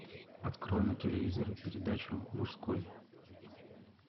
открой на телевизоре передачу мужской